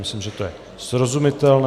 Myslím, že to je srozumitelné.